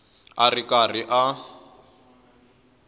a ri karhi a n